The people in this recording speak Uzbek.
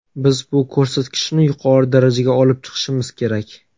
Biz bu ko‘rsatkichni yuqori darajaga olib chiqishimiz kerak.